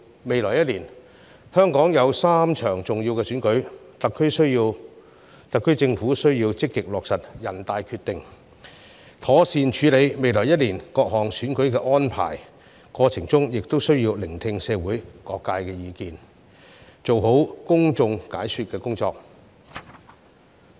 未來1年，香港有3場重要的選舉，特區政府需要積極落實全國人大的《決定》，妥善處理未來1年各項選舉的安排，過程中亦需要聆聽社會各界意見，做好公眾解說的工作。